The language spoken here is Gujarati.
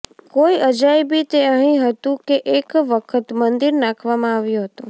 કોઈ અજાયબી તે અહીં હતું કે એક વખત મંદિર નાખવામાં આવ્યો હતો